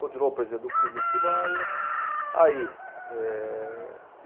Continuou presidente do clube em Atibaia. Aí eh